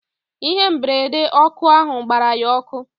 Ihe mberede ọkụ ahu gbara ya ọkụ